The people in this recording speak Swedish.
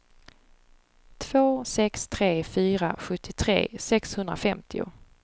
två sex tre fyra sjuttiotre sexhundrafemtio